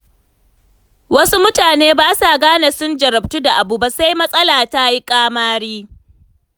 Wasu mutane ba sa gane sun jarabtu da abu ba sai matsala ta yi ƙamari.